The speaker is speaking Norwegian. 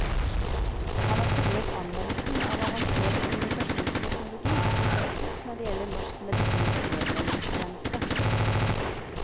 Han har studert anvendelsen av avansert kommunikasjonsteknologi i praksis når det gjelder norsk medisinsk nødmeldingstjeneste.